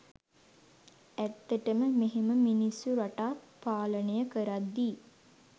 ඇත්තටම මෙහෙම මිනිස්සු රටක් පාලනය කරද්දි